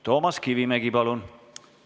Toomas Kivimägi, palun!